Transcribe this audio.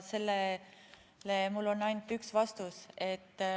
Sellele mul on ainult üks vastus.